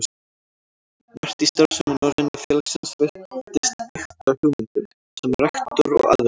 Margt í starfsemi Norræna félagsins virtist byggt á hugmyndum, sem rektor og aðrir